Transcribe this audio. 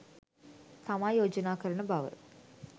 තමා යෝජනා කරන බව